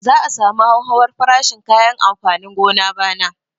Za a samu hauhawar farashin kayan amfanin gona bana